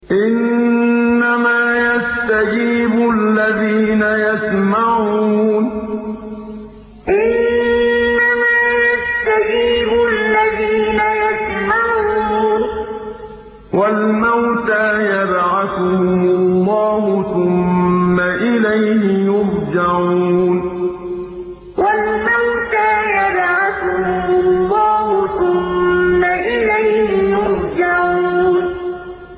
۞ إِنَّمَا يَسْتَجِيبُ الَّذِينَ يَسْمَعُونَ ۘ وَالْمَوْتَىٰ يَبْعَثُهُمُ اللَّهُ ثُمَّ إِلَيْهِ يُرْجَعُونَ ۞ إِنَّمَا يَسْتَجِيبُ الَّذِينَ يَسْمَعُونَ ۘ وَالْمَوْتَىٰ يَبْعَثُهُمُ اللَّهُ ثُمَّ إِلَيْهِ يُرْجَعُونَ